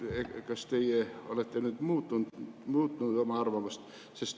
Kas teie olete nüüd muutnud oma arvamust?